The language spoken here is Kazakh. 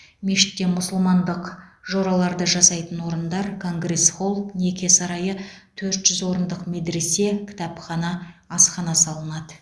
мешітте мұсылмандық жораларды жасайтын орындар конгресс холл неке сарайы төрт жүз орындық медресе кітапхана асхана салынады